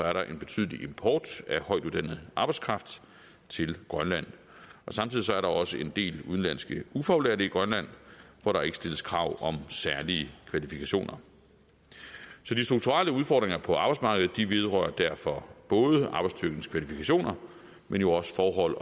er der en betydelig import af højtuddannet arbejdskraft til grønland og samtidig er der også en del udenlandske ufaglærte i grønland hvor der ikke stilles krav om særlige kvalifikationer så de strukturelle udfordringer på arbejdsmarkedet vedrører derfor både arbejdsstyrkens kvalifikationer men jo også forhold